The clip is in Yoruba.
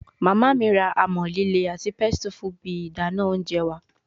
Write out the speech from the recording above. Mama mi ra amọ-lile ati pestle fun ibi idana ounjẹ wa